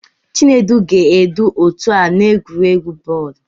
Chinedu ga-edu otu a n'egwuregwu bọọlụ.